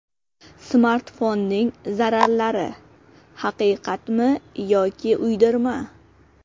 Smartfonning zararlari: haqiqatmi yoki uydirma?.